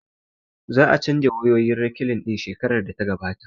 Za a canja wayoyin rekilin ɗin shekarar da ta gabata